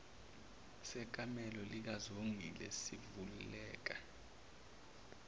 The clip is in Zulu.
sekamelo likazongile sivuleka